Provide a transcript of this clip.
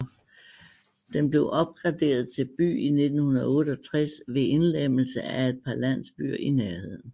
Den blev opgraderet til by i 1968 ved indlemmelse af et par landsbyer i nærheden